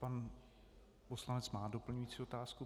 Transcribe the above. Pan poslanec má doplňující otázku.